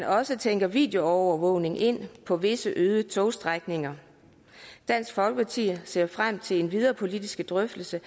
også tænke videoovervågning ind på visse øde togstrækninger dansk folkeparti ser frem til den videre politiske drøftelse